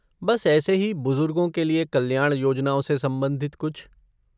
बस ऐसे ही बुजुर्गों के लिए कल्याण योजनाओं से संबंधित कुछ।